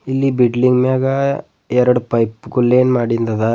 ಇಲ್ಲಿ ಬಿಡ್ಲಿಂಗ್ ಮ್ಯಾಲ ಎರಡು ಪೈಪು ಕೂಡ್ಲೆ ಮಾಡಿದ್ದಾಗ.